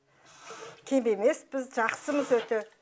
кем емеспіз жақсымыз өте